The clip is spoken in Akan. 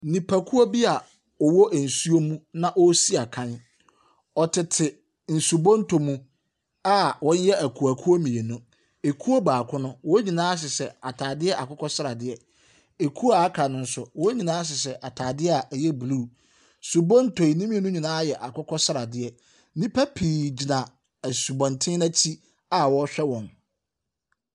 Nnipakuo bi a wɔwɔ nsuom na wɔresi akan. Wɔtete nsubonto mu a wɔyɛ akuokuo mmienu. Ekuo baako no, wɔn nyinaa hyehyɛ atadeɛ akokɔ sradeɛ. Ekuo a aka no nso, wɔn nyinaa hyehyɛ atadeɛ a ɛyɛ blue. Subonto yi, ne mmienu nyinaa yɛ akokɔ sradeɛ. Nnipa pii gyina asubɔnten no akyi a awɔrehwɛ wɔn.